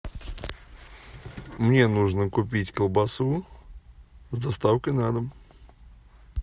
мне нужно купить колбасу с доставкой на дом